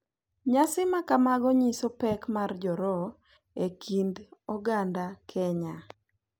Nyasi makamago nyiso pek mar rojho e kind oganda Kenya.